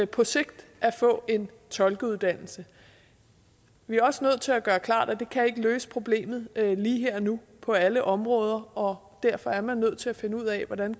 på sigt at få en tolkeuddannelse vi er også nødt til at gøre klart at det ikke kan løse problemet lige her og nu på alle områder og derfor er man nødt til at finde ud af hvordan